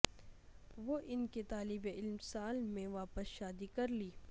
وہ ان کے طالب علم سال میں واپس شادی کر لی